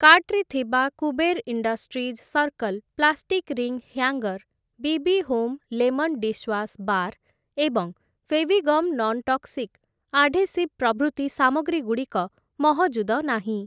କାର୍ଟ୍‌ରେ ଥିବା Kuber industries circle plastic ring hanger, BB home lemon dishwash bar ଏବଂ Fevigum nontoxic adhesive ପ୍ରଭୃତି ସାମଗ୍ରୀ ଗୁଡ଼ିକ ମହଜୁଦ ନାହିଁ ।